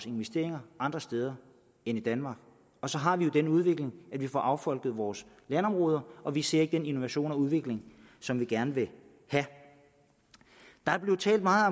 investeringer andre steder end i danmark så har vi jo den udvikling at vi får affolket vores landområder og vi ser ikke den innovation og udvikling som vi gerne vil have der blev talt meget